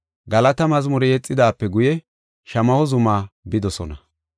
Galata mazmure yexidaape guye, Shamaho zuma bidosona.